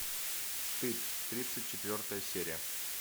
стыд тридцать четвертая серия